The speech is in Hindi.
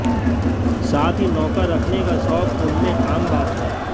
साथ ही नौका रखने का शौक उनमें आम बात है